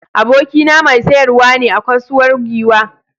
Abokina mai sayarwa ne a kasuwar Giwa.